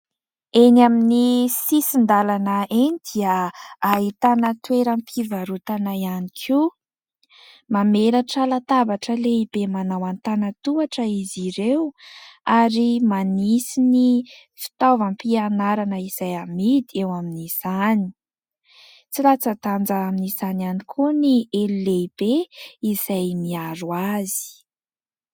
Eny amin'ny sisin-dalana eny dia ahitana toeram-pivarotana ihany koa mamelatra latabatra lehibe manao an-tanatohatra izy ireo ary manisy ny fitaovam-pianarana izay amidy eo amin'izany, tsy latsa-danja amin'izany ihany koa ny elo lehibe izay miaro azy.